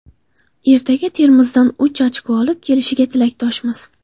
Ertaga Termizdan uch ochko olib kelishiga tilakdoshmiz.